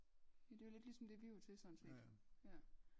Ja det jo lidt ligesom det vi var til sådan set ja